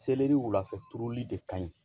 Seleri wulafɛ turuli de ka ɲi